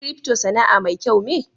"crypto" Sana'a mai kyau me?